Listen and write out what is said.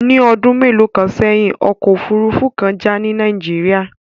Ní ọdún mélòó kan sẹ́yìn, ọkọ̀ òfuurufú kan jà ní Nàìjíríà